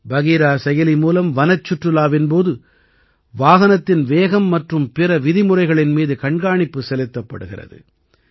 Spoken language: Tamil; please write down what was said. பகீரா செயலி மூலம் வனச்சுற்றுலாவின் போது வாகனத்தின் வேகம் மற்றும் பிற விதிமுறைகளின் மீது கண்காணிப்பு செலுத்தப்படுகிறது